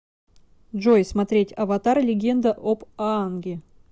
джой смотреть аватар легенда об аанге